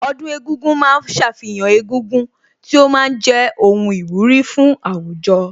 Ọdún egúngún ma ń ṣàfihàn egúngún tí ó ma ń jẹ́ ohun ìwúrí fún àwùjọ